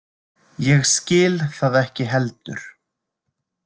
Ég skil það ekki heldur.